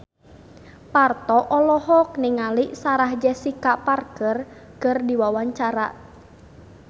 Parto olohok ningali Sarah Jessica Parker keur diwawancara